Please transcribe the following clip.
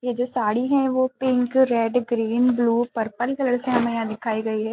ये जो साड़ी है वो pink red green blue purple colours है हमे यहाँ दिखाई गई है।